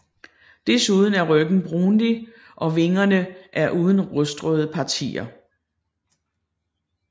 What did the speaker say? Desuden er ryggen brunlig og vingerne er uden rustrøde partier